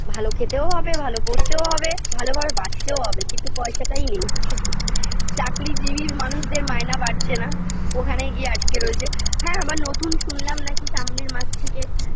ভাল খেতেও হবে ভালো পরতেও হবে ভালো ভাবে বাঁচতেও হবে কিন্তু পয়সাটাই নেই চাকরিজীবী মানুষদের মায়না বাড়ছে না ওখানেই গিয়ে আটকে রয়েছে হ্যাঁ আবার নতুন শুনলাম নাকি সামনে র মাস থেকে